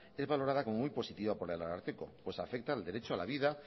es valorada como muy positiva por el ararteko pues afecta al derecho a la vida